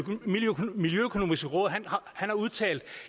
miljøøkonomiske råd har udtalt